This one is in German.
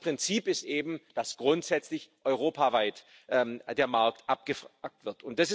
Aber das Prinzip ist eben, dass grundsätzlich europaweit der Markt abgefragt wird.